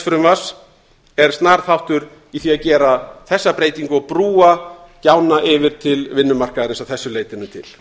frumvarps er snar þáttur í því að gera þessa breytingu og brúa gjána yfir til vinnumarkaðarins að þessu leytinu til